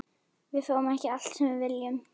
Við fáum ekki allt sem við viljum.